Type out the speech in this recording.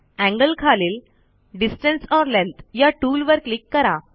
angle खालील distance or length या टूलवर क्लिक करा